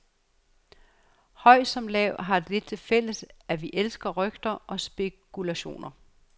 Høj som lav, har det til fælles, at vi elsker rygter og spekulationer.